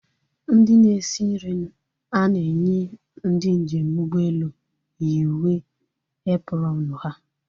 Ndị na-esi nri a na-enye ndị njem ụgbọelu yi uwe eprọọnu ha